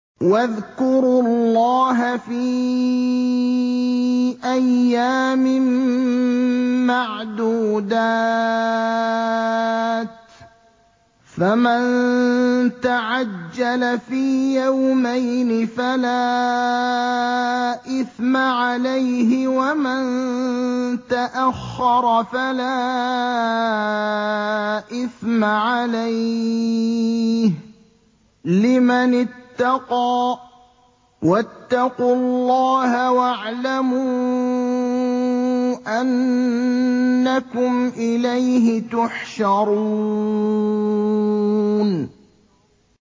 ۞ وَاذْكُرُوا اللَّهَ فِي أَيَّامٍ مَّعْدُودَاتٍ ۚ فَمَن تَعَجَّلَ فِي يَوْمَيْنِ فَلَا إِثْمَ عَلَيْهِ وَمَن تَأَخَّرَ فَلَا إِثْمَ عَلَيْهِ ۚ لِمَنِ اتَّقَىٰ ۗ وَاتَّقُوا اللَّهَ وَاعْلَمُوا أَنَّكُمْ إِلَيْهِ تُحْشَرُونَ